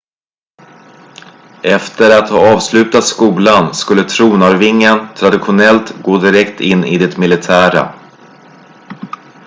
efter att ha avslutat skolan skulle tronarvingen traditionellt gå direkt in i det militära